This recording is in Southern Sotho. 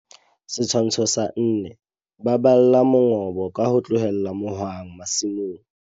Setshwantsho sa 4. Baballa mongobo ka ho tlohela mohwang masimong.